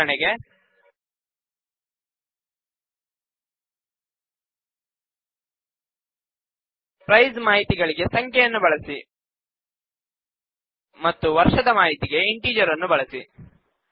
ಉದಾಹರಣೆಗೆ ಪ್ರೈಸ್ ಮಾಹಿತಿಗಳಿಗೆ ಸಂಖ್ಯೆಗಳನ್ನು ಬಳಸಿಮತ್ತು ವರ್ಷದ ಮಾಹಿತಿಗೆ ಇಂಟಿಜರ್ ನ್ನು ಬಳಸಿ